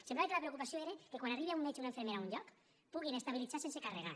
semblava que la preocupació era que quan arribi un metge o una infermera a un lloc puguin estabilitzar sense carregar